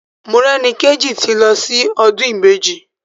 Morẹ́nikéjì ti lọ sí ọdún Ìbejì.